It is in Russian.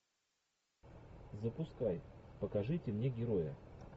запускай покажите мне героя